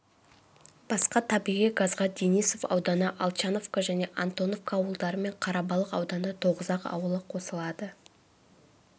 басқа табиғи газға денисов ауданы алчановка және антоновка ауылдары мен қарабалық ауданы тоғызақ ауылы қосылады